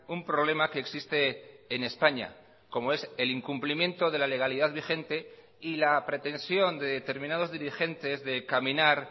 un problema que existe en españa como es el incumplimiento de la legalidad vigente y la pretensión de determinados dirigentes de caminar